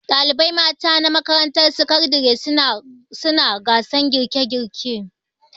Dalibai mata na makarantar sakandare suna gasan girke girke